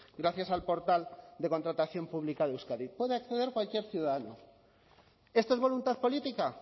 gracias al portal de contratación pública de euskadi puede acceder cualquier ciudadano esto es voluntad política